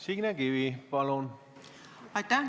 Signe Kivi, palun!